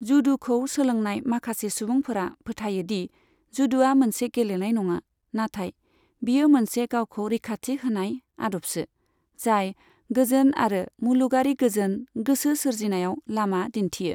जूडु'खौ सोलोंनाय माखासे सुबुंफोरा फोथायो दि जुडु'आ मोनसे गेलेनाय नङा, नाथाय बियो मोनसे गावखौ रैखाथि होनाय आदबसो, जाय गोजोन आरो मुलुगारि गोजोन गोसो सोरजिनायाव लामा दिन्थियो।